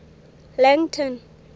langton